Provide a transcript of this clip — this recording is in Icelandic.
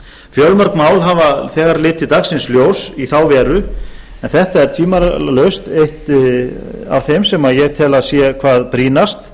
fjölmörg mál hafa þegar litið dagsins ljós í þá veru en þetta er tvímælalaust eitt af þeim sem ég tel að sé hvað brýnast